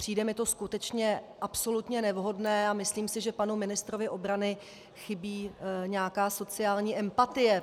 Přijde mi to skutečně absolutně nevhodné a myslím si, že panu ministrovi obrany chybí nějaká sociální empatie.